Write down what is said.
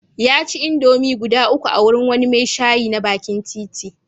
Ya ci indomie guda uku a wurin wani mai shayi na bakin titi.